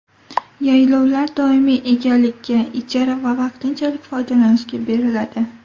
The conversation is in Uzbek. Yaylovlar doimiy egalikka, ijara va vaqtinchalik foydalanishga beriladi.